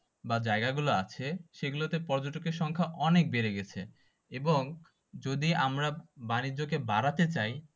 বা জায়গা গুলো আছে সে গুলতে পর্যটকের সংখ্যা অনেক বেড়ে গেছে এবং যদি আমরা বাণিজ্যকে বাড়াতে চাই